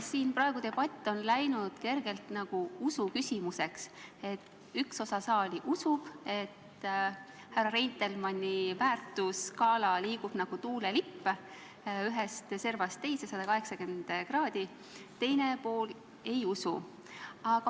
Siin on praegu debatt muutunud kergelt nagu usuküsimuseks: üks osa saali usub, et härra Reitelmanni väärtusskaala liigub nagu tuulelipp ühest servast teise, 180 kraadi, teine pool ei usu.